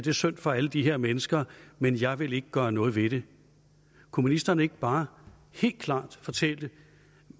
er synd for alle de her mennesker men jeg vil ikke gøre noget ved det kunne ministeren ikke bare helt klart fortælle